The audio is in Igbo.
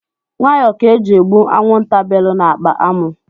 Nwayọ ka eji egbu anwụnta bèlù na akpa amụ.